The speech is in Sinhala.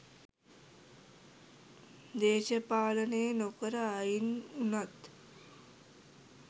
දේශපාලනේ නොකර අයින් වුනත්